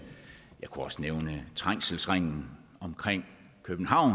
jeg kunne også nævne trængselsringen omkring københavn